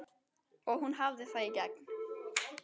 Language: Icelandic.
Og hún hafði það í gegn.